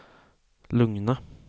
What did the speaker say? lugna